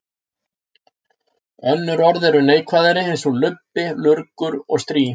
Önnur orð eru neikvæðari eins og lubbi, lurgur og strý.